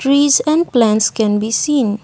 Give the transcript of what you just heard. trees and plants can be seen.